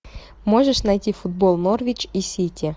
можешь найти футбол норвич и сити